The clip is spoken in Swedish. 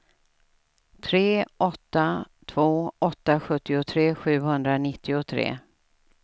tre åtta två åtta sjuttiotre sjuhundranittiotre